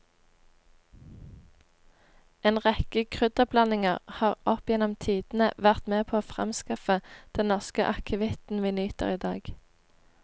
En rekke krydderblandinger har opp gjennom tidene vært med på å fremskaffe den norske akevitten vi nyter i dag.